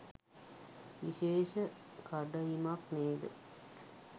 විශේෂ කඩඉමක් නේද?